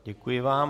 Děkuji vám.